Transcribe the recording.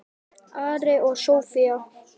Ari og Soffía.